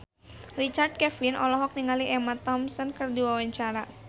Richard Kevin olohok ningali Emma Thompson keur diwawancara